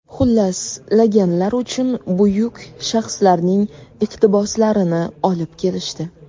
Xullas, laganlar uchun buyuk shaxslarning iqtiboslarini olib kelishdi.